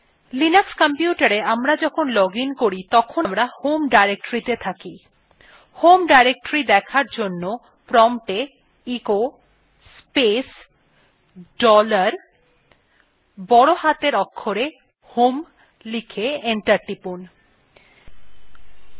linux কম্পিউটারa আমরা যখন login করি তখন আমরা home directory তে থাকি home directory দেখার জন্য prompta echo space dollar বড় হাতের অক্ষরে home লিখে enter টিপুন